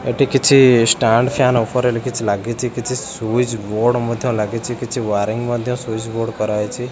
ଏଠି କିଛି stand fan ଉପରେ ଗୋଟେ କିଛି ଲାଗିଚି କିଛି ସ୍ୱିଚବୋର୍ଡ ମଧ୍ୟ ଲାଗିଚି କିଛି ୱାରିଂ ମଧ୍ୟ ସ୍ୱିଚବୋର୍ଡ କରା ହେଇଚି।